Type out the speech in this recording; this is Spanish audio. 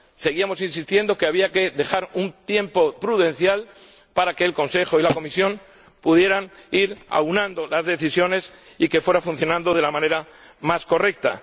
Seguíamos insistiendo en que había que dejar pasar un tiempo prudencial para que el Consejo y la Comisión pudieran ir aunando las decisiones y que fueran funcionando de la manera más correcta.